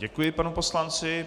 Děkuji panu poslanci.